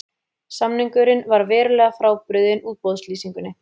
Samningurinn var verulega frábrugðinn útboðslýsingunni